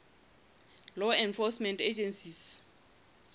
law enforcement agencies